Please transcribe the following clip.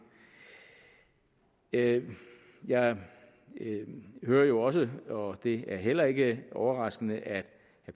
jeg jeg hører jo også og det er heller ikke overraskende at herre